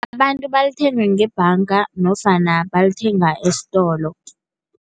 Abantu balithenga ngebhanga nofana balithenga esitolo.